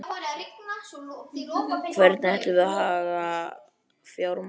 Hvernig ætlum við að haga fjármálunum?